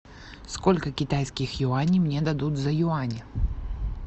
сколько китайских юаней мне дадут за юани